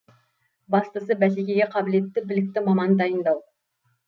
бастысы бәсекеге қабілетті білікті маман дайындау